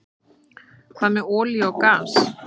Hvað með olíu og gas?